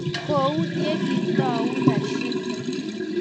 kou ye kitou Rashid.